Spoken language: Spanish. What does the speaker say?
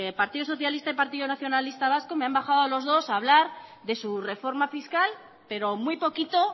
partido socialista y partido nacionalista vasco me han bajado los dos a hablar de su reforma fiscal pero muy poquito